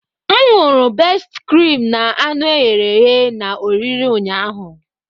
M ṅụru bestị krim na anụ eghere eghe na oriri ụnyaahụ.